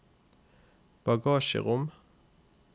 bagasjerom